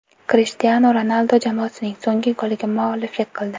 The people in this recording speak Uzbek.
Krishtianu Ronaldu jamoasining so‘nggi goliga mualliflik qildi.